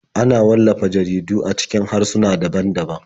Ana wallafa jaridu a cikin harsuna daban-daban.